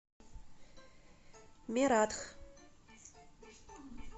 мератх